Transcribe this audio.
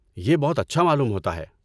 یہ بہت اچھا معلوم ہوتا ہے۔